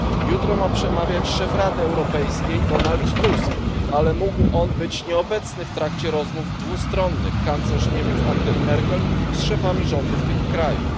Jutro ma przemawiać szef Rady Europejskiej Donald Tusk, ale mógł on być nieobecny w trakcie rozmów dwustronnych kanclerz Niemiec Angeli Merkel z szefami rządów tych krajów.